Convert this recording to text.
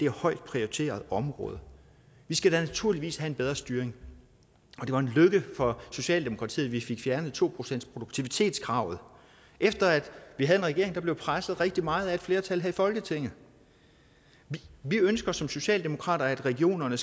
højt prioriteret område vi skal da naturligvis have en bedre styring og det var en lykke for socialdemokratiet at vi fik fjernet to procentsproduktivitetskravet efter at vi havde en regering der blev presset rigtig meget af et flertal her i folketinget vi ønsker som socialdemokrater at regionerne